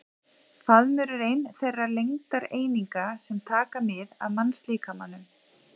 Faðmur er ein þeirra lengdareininga sem taka mið af mannslíkamanum.